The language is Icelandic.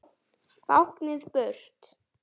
Báknið burt!